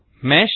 mesh